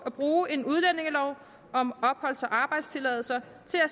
at bruge en udlændingelov om opholds og arbejdstilladelser